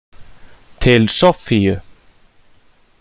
Til Soffíu.